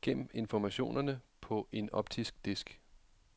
Gem informationerne på en optisk disk.